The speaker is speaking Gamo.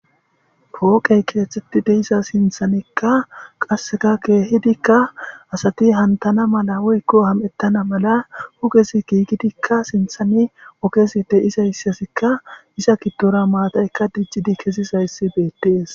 pooqey keethtetti deisa sinthanekka qasseka keehidikka asati hantana mala woykko ham7ettana mala hugesi giigidikka sinthani okeside isayssasikka iza gidtora maatayka dijjidi kesisayssi betties